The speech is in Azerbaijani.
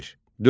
Dörd.